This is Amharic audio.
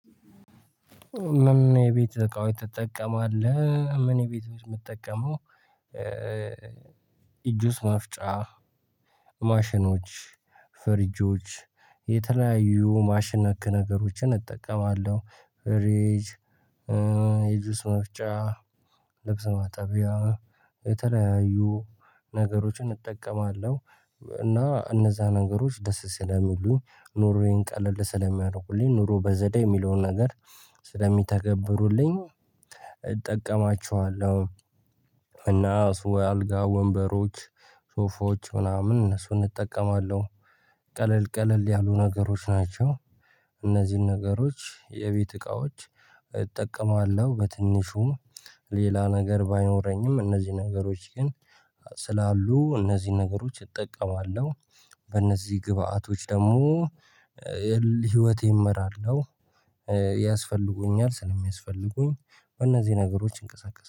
ምን ምን የቤት እቃዎች ትጠቀማለህ? ምን ቤት ውስጥ የምጠቀመው ጁስ መፍጫ ማሽኖች ፍሪጆች የተለያዩ ማሽን ነክ ነገሮችን እጠቀማለሁ ፍሪጅ የጁስ መፍጫ ልብስ ማጠቢያ የተለያዩ ነገሮችን እጠቀማለሁ እና እነዛ ነገሮች ደስ ስለሚሉኝ ኑሮዬን ቀለል ስለሚያደርጉልኝ ኑሮ በዘዴ የሚለውን ነገር ስለሚተገብሩልኝ እጠቀማቸዋለሁ። እና እሱ አልጋ ወንበሮች ሶፎች ምናምን እነሱን እጠቀማለሁ ቀለል ቀለል ያሉ ነገሮች ናቸው። እነዚህን ነገሮች የቤት እቃዎች እጠቀማለሁ በትንሹም ሌላ ነገር ባይኖረኝም እነዚህ ነገሮች ግን ስላሉ እነዚህን ነገሮች እጠቀማለሁ። በእነዚህ ግብአቶች ደግሞ ህይወቴን እመራለሁ። ያስፈልጉኛል ስለሚያስፈልጉኝ በእነዚህ ነገሮች እንቀሳቀስ